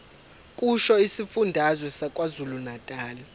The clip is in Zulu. kusho isifundazwe sakwazulunatali